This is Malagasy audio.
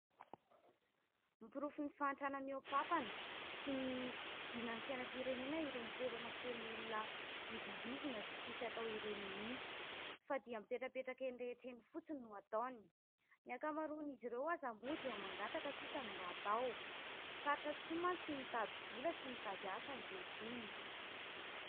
Porofon'ny fahantrana mihoa-pampana sy ny fidinan'ny fiainam-pirenena ireny toerana feno olona midongizina sy tsisy atao ireny mihitsy, fa dia mipetrapetraka eny rehetra eny fotsiny no ataony. Ny ankamaroan'izy ireo aza moa dia mangataka sisa no mba atao, sarotra tokoa mantsy ny mitady vola sy mitady asa ankehitriny.